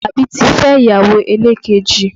Alabi ti fẹ́ ìyàwó elekeji